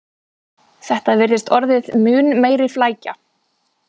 Þetta virðist orðið mun meiri flækja